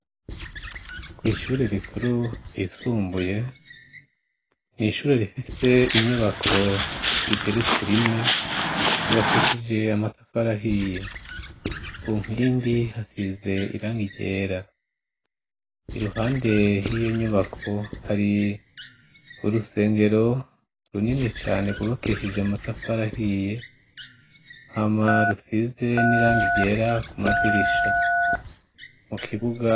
ku ishure rikuru yisumbuye nishure rifise inyubako zigeretse rimwe zubakishije amatafarahiye ku nkindi hasize irangigera iruhande 'iyo nyubako hari urusengero runini cane gubakeshije amatafarahiye hama rusize n'irangi vyera ku madirisha mu kibuga